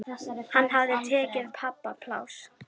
Hann hafði tekið pabba pláss.